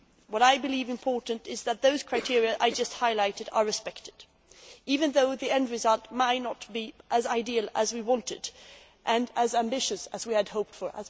What I believe important is that those criteria I have just highlighted are respected, even though the end result may not be as ideal as we wanted and as ambitious as we had hoped for.